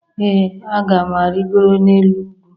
ee a ga m arịgoro n'elu ugwu